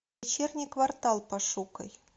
вечерний квартал пошукай